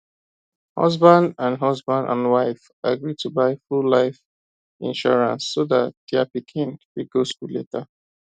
husband and husband and wife agree to buy full life insurance so that dia pikin fit go school later